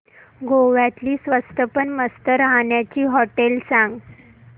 गोव्यातली स्वस्त पण मस्त राहण्याची होटेलं सांग